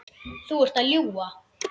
Þú ert að ljúga!